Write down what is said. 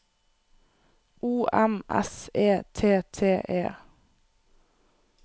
O M S E T T E